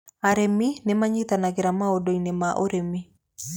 Arĩmi nĩ manyitanagĩra maũndũ-inĩ ma ũrĩmi.